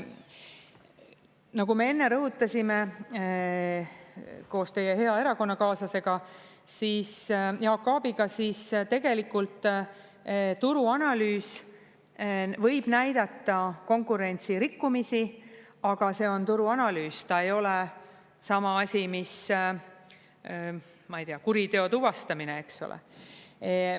Nagu me enne rõhutasime koos teie hea erakonnakaaslasega, Jaak Aabiga, siis tegelikult turuanalüüs võib näidata konkurentsirikkumisi, aga see on turuanalüüs, ta ei ole sama asi mis, ma ei tea, kuriteo tuvastamine, eks ole.